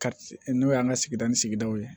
Ka n'o y'an ka sigida ni sigidaw ye